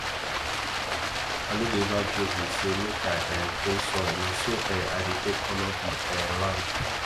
i no dey ever joke with say make i um clean soil na so um i dey take honour the um land